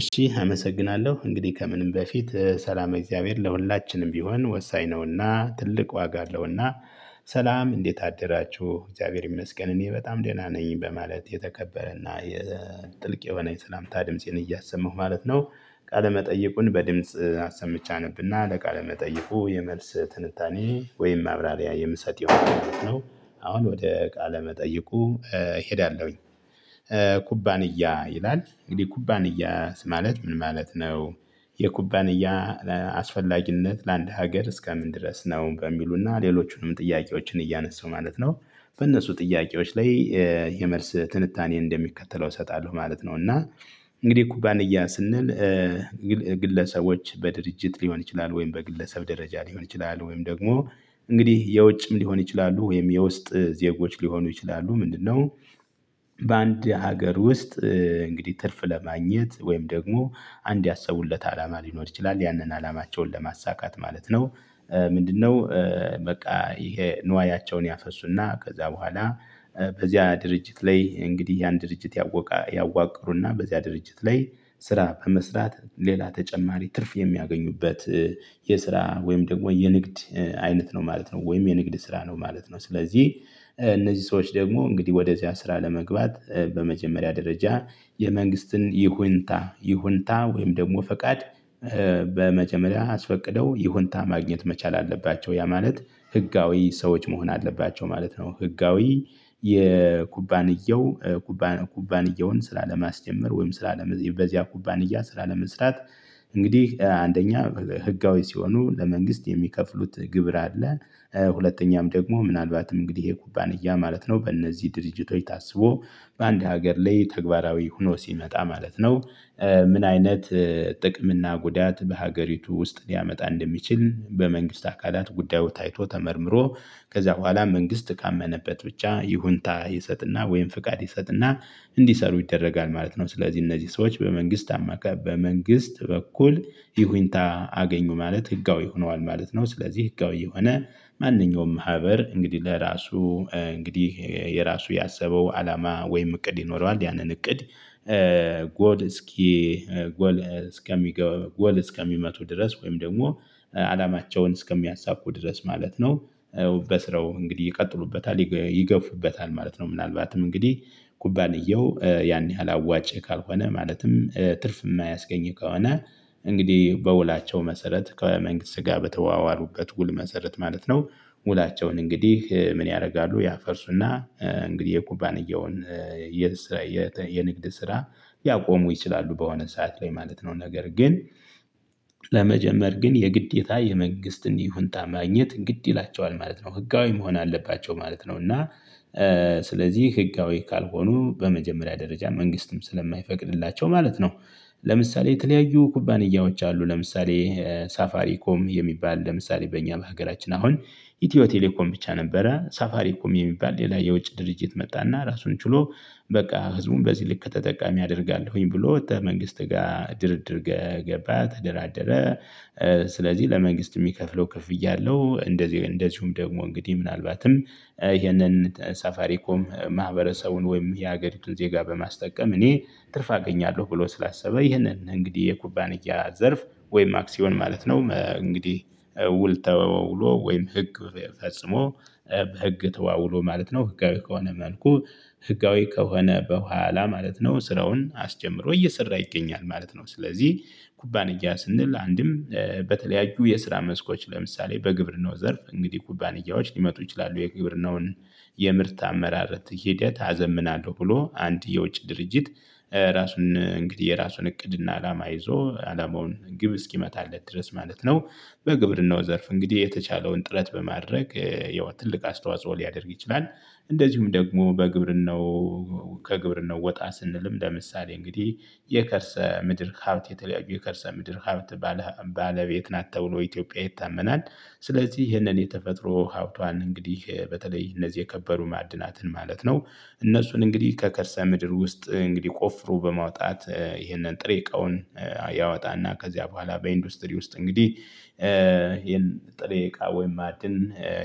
እሺ አመሰግናለሁ እንግዲህ ከምንም በፊት ሰላም እግዚአብሔር ለሁላችንም ቢሆን ወሳኝ ነውና ትልቅ ዋጋ አለውና። ሰላም እንዴት አደራችሁ እግዚአብሔር ይመስገን እኔ በጣም ደህና ነኝ በማለት የተከበረና የጥልቅ የሆነ የተላምታ ድምፄን እያሰማሁ ማለት ነው። ቃለ መጠይቁን በድምጽ አሰምቼ አነብና ለቃለ መጠይቁ የመልስ ትንታኔ ወይም ማብራሪያ የምሰጥ የሆነ ነው። አሁን ወደ ቃለ መጠይቁ እሄዳለሁኝ። ኩባንያ ይላል እንግዲህ ኩባንያስ ማለት ምን ማለት ነው? የኩባንያ አስፈላጊነት ለአንድ ሀገር እስከምን ድረስ ነው በሚሉና ሌሎቹንም ጥያቄዎችን እያነሳሁ ማለት ነው። በእነሱ ጥያቄዎች ላይ የመልስ ትንታኔ እንደሚከተለው እሰጣለሁ ማለት ነው። እና እንግዲህ ኩባንያ ስንል ግለሰቦች በድርጅት ሊሆን ይችላል ወይም በግለሰብ ደረጃ ሊሆን ይችላል ወይም ደግሞ እንግዲህ የውጭም ሊሆን ይችላሉ ወይም የውስጥ ዜጎች ሊሆኑ ይችላሉ ምንድነው? በአንድ ሀገር ውስጥ እንግዲህ ትርፍ ለማግኘት ወይም ደግሞ አንድ ያሰቡለት አላማ ሊኖር ይችላል ያንን አላማቸውን ለማሳካት ማለት ነው። ምንድነው? በቃ ይሄ ንዋያቸውን ያፈሱና ከዛ በኋላ በዚያ ድርጅት ላይ እንግዲህ ያን ድርጅት ያወቀ ያዋቅሩና በዚያ ድርጅት ላይ ስራ በመስራት ሌላ ተጨማሪ ትርፍ የሚያገኙበት። የስራ ወይም ደግሞ የንግድ አይነት ነው ማለት ነው ወይም የንግድ ስራ ነው ማለት ነው። ስለዚህ እነዚህ ሰዎች ደግሞ እንግዲህ ወደዚያ ስራ ለመግባት በመጀመሪያ ደረጃ የመንግስትን ይሁንታ ይሁንታ ወይም ደግሞ ፈቃድ ኧ በመጀመሪያ አስፈቅደው ይሁንታ ማግኘት መቻል አለባቸው። ያ ማለት ህጋዊ ሰዎች መሆን አለባቸው ማለት ነው። ህጋዊ የኩባንየው ኩባንየውን ስራ ለማስጀመር ወይም ስራ ለመጀመ በዚያ ኩባንያ ስላለመስራት እንግዲህ አንደኛ ህጋዊ ሲሆኑ ለመንግስት የሚከፍሉት ግብር አለ። ሁለተኛም ደግሞ ምናልባትም እንግዲህ የኩባንያ ማለት ነው በእነዚህ ድርጅቶች ታስቦ በአንድ ሀገር ላይ ተግባራዊ ሆኖ ሲመጣ ማለት ነው። ምን አይነት? ጥቅም እና ጉዳት በሀገሪቱ ውስጥ ሊያመጣ እንደሚችል በመንግስት አካላት ጉዳዩ ታይቶ ተመርምሮ ከዚያ በኋላ መንግስት ካመነበት ብቻ ይሁንታ ይሰጥና ወይም ፍቃድ ይሰጥና እንዲሰሩ ይደረጋል ማለት ነው። ስለዚህ እነዚህ ሰዎች በመንግስት አማካይ በመንግስት በኩል ይሁንታ አገኙ ማለት ህጋዊ ሆኗል ማለት ነው። ስለዚህ ህጋዊ የሆነ ማንኛውም ማህበር እንግዲህ ለራሱ እንግዲህ የራሱ ያሰበው አላማ ወይም እቅድ ይኖረዋል ያንን እቅድ። ጎል እስኪ ጎል እስከሚገባ ጎል እስከሚመቱ ድረስ ወይም ደግሞ አላማቸውን እስከሚያሳኩ ድረስ ማለት ነው። በስራው እንግዲህ ይቀጥሉበታል ይገፉበታል ማለት ነው። ምናልባትም እንግዲህ ኩባንያው ያን ያህል አዋጭ ካልሆነ ማለትም ትርፍ የማያስገኝ ከሆነ እንግዲህ በውላቸው መሰረት ከመንግስት ጋ በተዋዋሉበት ውል መሰረት ማለት ነው። ውላቸውን እንግዲህ ምን ያደርጋሉ ያፈርሱና ኧ እንግዲህ የኩባንያውን የንግድ ስራ ያቆሙ ይችላሉ። በሆነ ሰዓት ላይ ማለት ነው ነገር ግን ለመጀመር ግን የግዴታ የመንግስትን ይሁንታ ማግኘት ግድ ይላቸዋል ማለት ነው። ህጋዊ መሆን አለባቸው ማለት ነው። እና ስለዚህ ህጋዊ ካልሆኑ በመጀመሪያ ደረጃ መንግስትም ስለማይፈቅድላቸው ማለት ነው። ለምሳሌ የተለያዩ ኩባንያዎች አሉ ለምሳሌ ሳፋሪኮም የሚባል ለምሳሌ በእኛ በሀገራችን አሁን ኢትዮ ቴሌኮም ብቻ ነበረ ሳፋሪ ኮም የሚባል የውጭ ድርጅት መጣና ራሱን ችሎ እሺ። አመሰግናለሁ እንግዲህ ከምንም በፊት ሰላም እግዚአብሔር ለሁላችንም ቢሆን ወሳኝ ነውና ትልቅ ዋጋ አለውና። ሰላም እንዴት አደራችሁ እግዚአብሔር ይመስገን እኔ በጣም ደህና ነኝ በማለት የተከበረና የጥልቅ የሆነ የተላምታ ድምፄን እያሰማሁ ማለት ነው። ቃለ መጠየቁን በድምጽ አሰምቼ አነብና ለቃለ መጠይፉ የመልስ ትንታኔ ወይም ማብራሪያ የምሰጥ የሆነ ነው። አሁን ወደ ቃለ መጠይቁ እሄዳለሁኝ። በቃ ህዝቡን በዚህ ልክ ተጠቃሚ አደርጋለሁኝ ብሎ ወጥተህ መንግስት ጋር ድርድር ገባ ተደራደረ ኧ። ኩባንያ ስንል የስራ መስኮች ለምሳሌ በግብርና ዘርፍ እንግድህ ኩባንያዎች ሊመጡ ይችላሉ። የግብርናውን የምርት አመራረት ሂደት አዘምናለሁ ብሎ አንድ የውጭ ድርጅት። ኧ የራሱን እቅድና አላማ ይዞ እንግድህ ግብ እስኪመታለት ድረስ በግብርናው ዘርፍ ጥረት ሊያደርግ ይችላል። ከግብርናው ወጣ ስንል ለምሳሌ እንግድህ የከርሰምድር ሀብት የተለያዩ የከረሰምድር ሀብት ባለ ሀብቶች ባለቤት ናት ተብሎ ኢትዮጵያ ይታመናል። ስለዚህ ይህንን የተፈጥሮ ሀብቷን እንግዲህ በተለይ እነዚህ የከበሩ ማዕድናትን ማለት ነው። እነሱን እንግዲህ ከከርሰ ምድር ውስጥ እንግዲህ ቆፍሮ በማውጣት ይሄንን ጥሬ እቃውን ያወጣና ከዚያ በኋላ በኢንዱስትሪ ውስጥ እንግዲህ ኧ ይሄን ጥሬ እቃ ወይም ማዕድን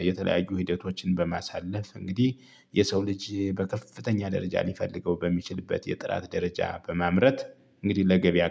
የተለያዩ ሂደቶችን በማሳለፍ እንግዲህ የሰው ልጅ በከፍተኛ ደረጃ ሊፈልገው በሚችልበት የጥራት ደረጃ በማምረት እንግዲህ ለገበያ